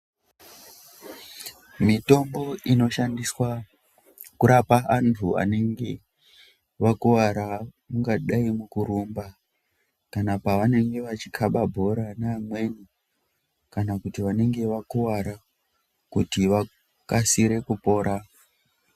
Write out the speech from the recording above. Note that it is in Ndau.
Mitombo inoshandiswa kurapa antu anenge vakuvara ungadai mukurumba. Kana pavanenge vachikaba bhora neamweni. Kana kuti vanenge vakuvara kuti vakasire kupora.